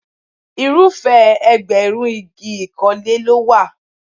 Irúfẹ́ ẹgbẹ̀rún igi ìkọ́lé ló wà.